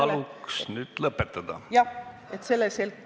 Palun nüüd lõpetada!